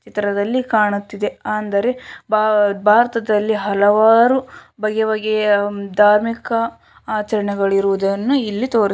ಚಿತ್ರದಲ್ಲಿ ಕಾಣುತ್ತಿದೆ ಅಂದರೆ ಭಾ ಭಾರತದಲ್ಲಿ ಹಲವಾರು ಬಗೆ ಬಗೆಯ ಧಾರ್ಮಿಕ ಆಚರಣೆಗಳಿರುವುದನ್ನು ಇಲ್ಲಿ ತೋರಿ--